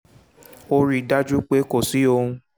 ó rí i dájú pé kò sí ohun